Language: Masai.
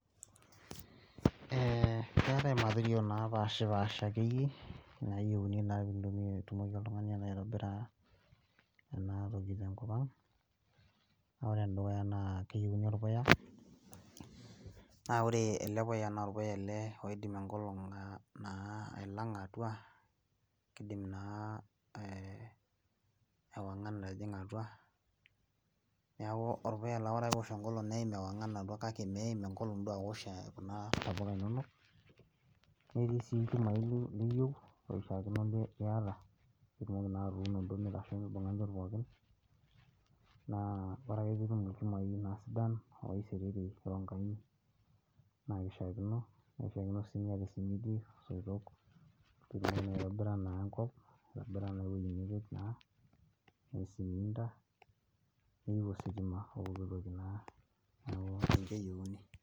Eeh keetae, material naa pashipaasha, akeyie nayieuni naa pee intumia pe itumoki oltung'ani alo aitobirr, aah ena toki tenkop ang' naa ore ene dukuya naa keyieuni orpuya, naa ore ele puya na orpuya naa oidim enkolong' aironya atua, kidim naa ewangan atijing'a atua, neku orpuya laa ore ake pee eosh enkolong' neim ewangan atua kake meim enkolong' duo aoshi, e kuna tapuka inonok. Netii sii ilchumai liyieu, looishaakino niyata pee itumoki duo atuuno mitasho inchot pookin, naa ore ake pee itum ilchumai naa sidan, loisiriri ronkai, na kishaakino nirishakino ninye tosimiti, isoitok pee itumoki aitobira naa enkop neyieu ositima opooki toki naa.